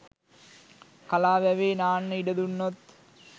කලා වැවේ නාන්න ඉඩ දුන්නොත්